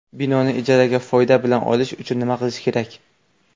Binoni ijaraga foyda bilan olish uchun nima qilish kerak?